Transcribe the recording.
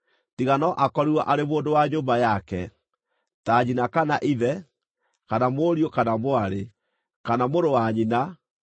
tiga no akorirwo arĩ mũndũ wa nyũmba yake, ta nyina kana ithe, kana mũriũ kana mwarĩ, kana mũrũ wa nyina,